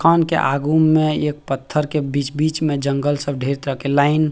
खान के आगू में एक पत्थर के बीच-बीच में जगल सब ढेर तरह के लाइन --